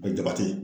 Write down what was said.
A bɛ jabate